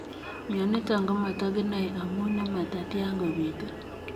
Mionitok komatakinae amuu nematatyaa kopituu .